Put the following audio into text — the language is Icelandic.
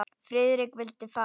Friðrik vildi fara.